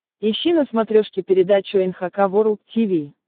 ищи на смотрешке передачу эн эйч кей волд ти ви